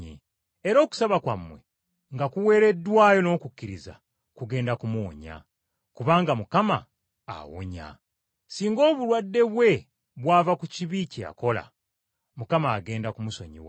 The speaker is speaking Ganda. Era okusaba kwabwe nga kuweereddwayo n’okukkiriza, kugenda kumuwonya, kubanga Mukama awonya. Singa obulwadde bwe bwava ku kibi kye yakola, Mukama agenda kumusonyiwa.